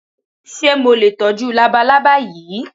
Ṣé mo lè tọ́jú labalábá yìí?